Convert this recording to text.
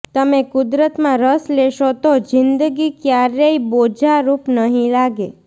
તમે કુદરતમાં રસ લેશો તો જિંદગી ક્યારેય બોજારૂપ નહીં લાગે